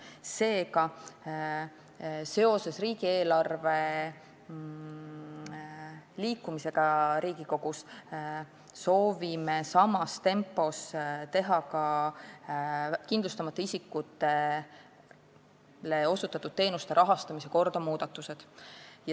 Seega, seoses riigieelarve menetlemisega Riigikogus soovime samas tempos teha muudatusi ka kindlustamata isikutele osutatud teenuste rahastamise korras.